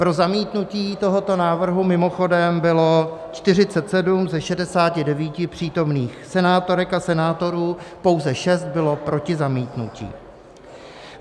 Pro zamítnutí tohoto návrhu mimochodem bylo 47 ze 69 přítomných senátorek a senátorů, pouze 6 bylo proti zamítnutí.